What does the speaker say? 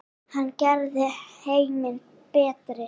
Hann gerði heiminn betri.